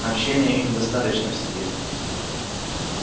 общения им достаточно в сети